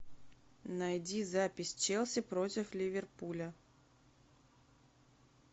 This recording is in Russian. найди запись челси против ливерпуля